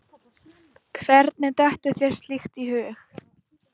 Hvernig dettur þér slíkt í hug?